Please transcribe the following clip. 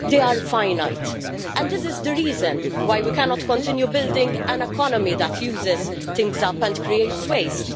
they are finite. This is the reason why we cannot continue building an economy that uses things up and creates waste.